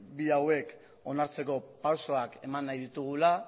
bi onartzeko pausuak eman nahi ditugula